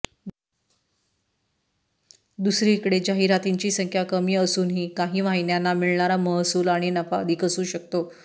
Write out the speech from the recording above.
दुसरीकडे जाहिरातींची संख्या कमी असूनही काही वाहिन्यांना मिळणारा महसूल आणि नफा अधिक असू शकतो